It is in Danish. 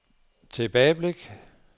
tilbageblik